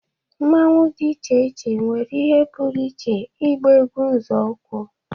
Mmanwu dị iche iche nwere ihe pụrụ iche ịgba egwu nzọụkwụ